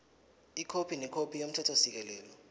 ikhophi nekhophi yomthethosisekelo